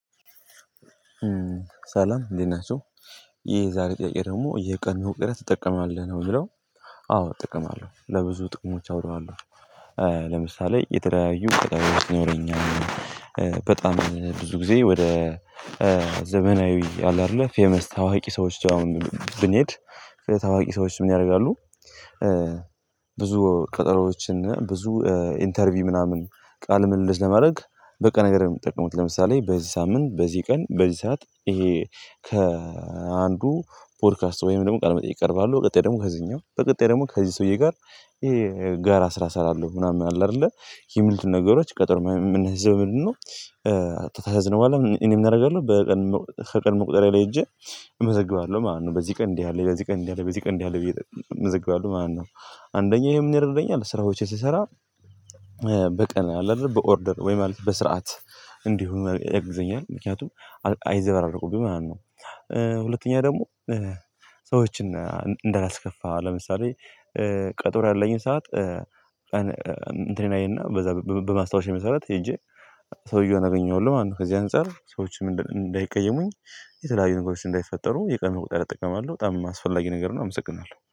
ሰላም እንዴት ናቸው ይሄ ዛሬ ጥያቄ ደግሞ የቀን መቁጠሪያ ትጠቀማለህ ነው ይለው? አዎ ጥቅም አለው ለብዙ ጥቅሞች አውለዋለሁ። ለምሳሌ የተለያዩ ቀጠሮዎች ይኖሩኛል። በጣም ብዙ ጊዜ ወደ ዘመናዊ አለ አይደለ ፌመስ ታዋቂ ሰዎች አሁን ብንሄድ ታዋቂ ሰዎች ምን ያረጋሉ? ብዙ ቀጠሮዎችና ብዙ ኢንተርቪው ምናምን ቃል ምልልስ ለማድረግ በቀነ ገደብ ነው። የሚጠቀሙት ለምሳሌ በዚህ ሳምንት በዚህ ቀን በዚህ ሰዓት ይሄ ከአንዱ ፖድካስት ወይም ደግሞ ቃል መጠየቅ ይቀርባለሁ። በቀጣይ ደግሞ ከዚህኛው በቀጣይ ደግሞ ከዚህ ሰውዬ ጋር ይሄ ጋር ስራ ሰራለሁ ምናምን አለ አይደለ የሚሉት ነገሮች ቀጠሮ የምናሲዘው በምንድነው? ታዝያዝን በኋላ እኔ ምን አደርጋለሁ። ከቀን መቁጠረያ ላይ ሄጄ እመዘግባለሁ ማለት ነው። በዚህ ቀን እንዲህ ያለ በዚህ ቀን እንዲህ ያለ በዚህ ቀን እንዲህ ያለ ብዬ እመዘግባለሁ ማለት ነው። አንደኛ ይሄ ምን ይረዳኛል ስራዎቼን ስሰራ። በቀን አለ በኦርደር ወይ ማለት በስርዓት እንዲሁ ያግዘኛል ምክንያቱም አይዘበራረቁብኝም ማለት ነው። ሁለተኛ ደግሞ ሰዎችን እንደላስከፋ ለምሳሌ ቀጠሮ ያለኝን ሰዓት ቀን እንትኔን አየና በዛ በማስታወሻየ መሰራት ሄጄ ሰውየውን አገኜዋለሁ ማለት ነው። ከዚህ አንፃር ሰዎች ምንድን እንዳይቀየሙኝ የተለያዩ ነገሮች እንዳይፈጠሩ የቀን መቁጠሪያ እጠቀማለሁ በጣም አስፈላጊ ነገር ነው። አመሰግናለሁ